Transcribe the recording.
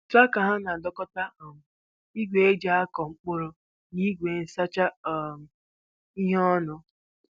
Traktọ ha na-adọkọta um igwe e ji akụ mkpụrụ na igwe nsacha um ihe ọnụ.